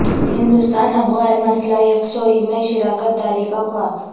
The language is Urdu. ہندوستان افغان مسئلہ یکسوئی میں شراکت داری کا خواہاں